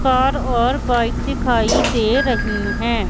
Car और bike दिखाई दे रही है।